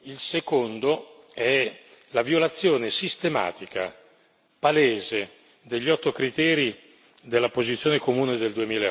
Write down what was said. Il secondo è la violazione sistematica, palese, degli otto criteri della posizione comune del